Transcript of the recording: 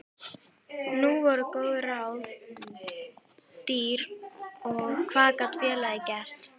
Nú voru góð ráð dýr og hvað gat félagið gert?